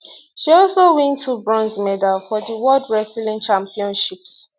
she also win two bronze medals for di world wrestling championships